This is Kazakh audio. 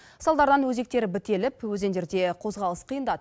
салдардан өзектері бітеліп өзендерде қозғалыс қиындады